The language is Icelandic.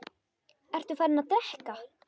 Ertu farinn að drekka?